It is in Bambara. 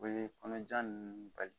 O be kɔnɔja nunnu bali.